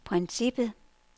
princippet